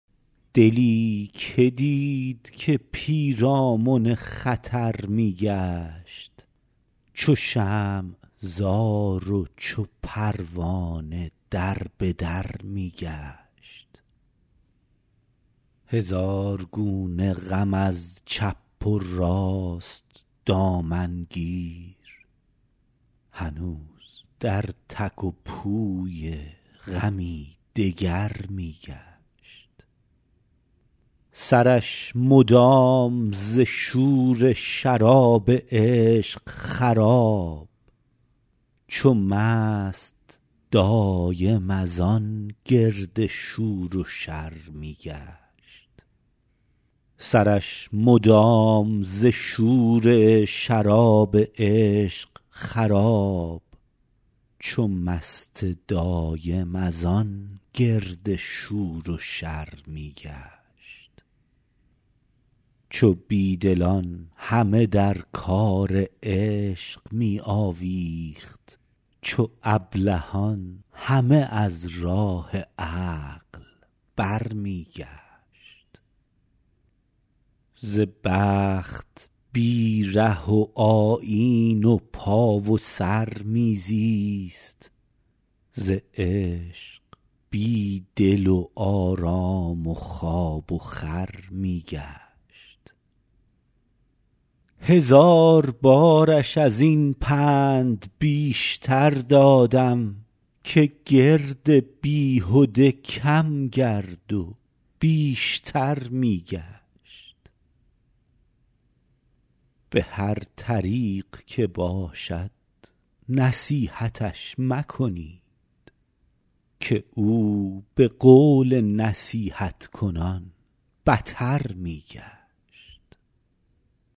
دلی که دید که پیرامن خطر می گشت چو شمع زار و چو پروانه در به در می گشت هزار گونه غم از چپ و راست دامن گیر هنوز در تک و پوی غمی دگر می گشت سرش مدام ز شور شراب عشق خراب چو مست دایم از آن گرد شور و شر می گشت چو بی دلان همه در کار عشق می آویخت چو ابلهان همه از راه عقل برمی گشت ز بخت بی ره و آیین و پا و سر می زیست ز عشق بی دل و آرام و خواب و خور می گشت هزار بارش از این پند بیشتر دادم که گرد بیهده کم گرد و بیشتر می گشت به هر طریق که باشد نصیحتش مکنید که او به قول نصیحت کنان بتر می گشت